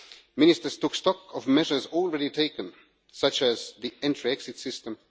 Ministers took stock of measures already taken, such as the entry exit system.